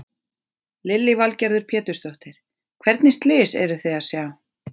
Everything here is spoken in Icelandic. Lillý Valgerður Pétursdóttir: Hvernig slys eruð þið að sjá?